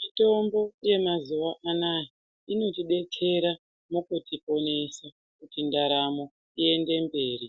Mitombo yemazuwa anaya inotidetsera mukutiponesa kuti ndaramo iende mberi.